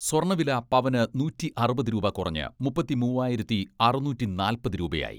സ്വർണ്ണവില പവന് നൂറ്റി അറുപത് രൂപ കുറഞ്ഞ് മുപ്പത്തി മൂവ്വായിരത്തി അറുനൂറ്റി നാൽപ്പത് രൂപയായി.